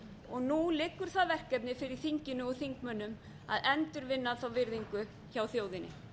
og nú liggur það verkefni fyrir þinginu og þingmönnum að endurvinna þá virðingu hjá þjóðinni